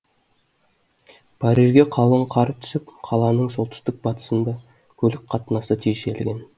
парижге қалың қар түсіп қаланың солтүстік батысында көлік қатынасы тежелген